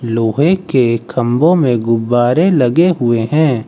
लोहे के खम्बो में गुब्बारे लगे हुए हैं।